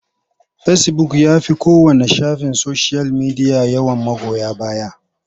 Fecibuk ya fi kowanne shafin soshiyal media yawan magoya baya.